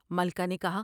ملکہ نے کہا ۔